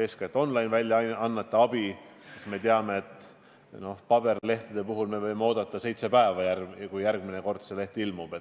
eeskätt online-väljaannete abi, sest me teame, et paberlehtede puhul me võime oodata seitse päeva, enne kui järgmine leht ilmub.